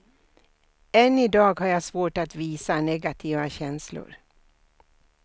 Än idag har jag svårt att visa negativa känslor.